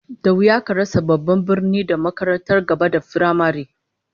Da wuya ka rasa babban birni da makarantar gaba da firamare